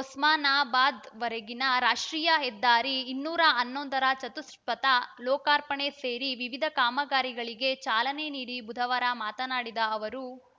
ಒಸ್ಮಾನಾಬಾದ್‌ವರೆಗಿನ ರಾಷ್ಟ್ರೀಯ ಹೆದ್ದಾರಿ ಇನ್ನೂರ ಹನ್ನೊಂದರ ಚತುಷ್ಪಥ ಲೋಕಾರ್ಪಣೆ ಸೇರಿ ವಿವಿಧ ಕಾಮಗಾರಿಗಳಿಗೆ ಚಾಲನೆ ನೀಡಿ ಬುಧವಾರ ಮಾತನಾಡಿದ ಅವರು